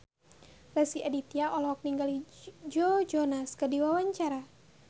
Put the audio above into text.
Rezky Aditya olohok ningali Joe Jonas keur diwawancara